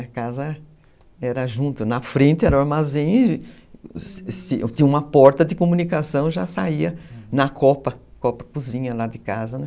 A casa era junto, na frente era o armazém, tinha uma porta de comunicação, já saía na copa, copa cozinha lá de casa, né?